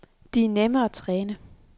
De er nemme at træne.